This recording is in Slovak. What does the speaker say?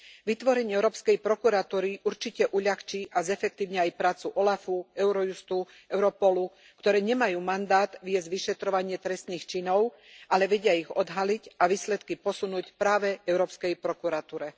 Vytvorenie Európskej prokuratúry určite uľahčí a zefektívni aj prácu OLAF u, Eurojustu a Europolu, ktoré nemajú mandát viesť vyšetrovanie trestných činov, ale vedia ich odhaliť a výsledky posunúť práve Európskej prokuratúre.